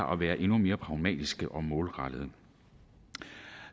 være endnu mere pragmatiske og målrettede